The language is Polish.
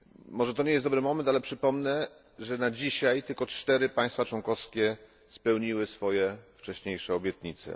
Może to nie jest dobry moment, ale przypomnę, że do dzisiaj tylko 4 państwa członkowskie spełniły swoje wcześniejsze obietnice.